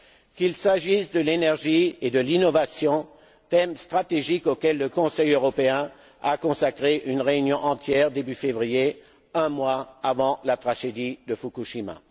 qu'il s'agisse de l'énergie et de l'innovation, thèmes stratégiques auxquels le Conseil européen a consacré une réunion entière début février, un mois avant la tragédie de Fukushima